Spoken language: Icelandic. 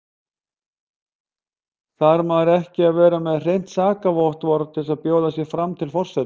Þarf maður ekki að vera með hreint sakavottorð til að bjóða sig fram til forseta?